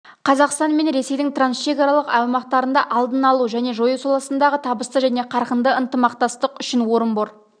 қазақстан мен ресейдің трансшекаралық аумақтарында алдын алу және жою саласындағы табысты және қарқынды ынтымақтастық үшін орынбор